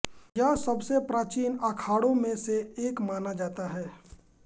यह सबसे प्राचीन अखाड़ों में से एक माना जाता है